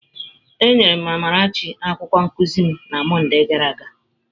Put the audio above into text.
Enyere m Amarachi akwụkwọ nkuzi m na Mọnde gara aga.